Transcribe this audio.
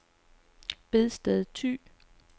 Bedsted Thy